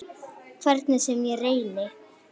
Hvernig sem ég reyni.